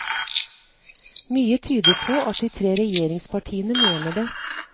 Mye tyder på at de tre regjeringspartiene mener det.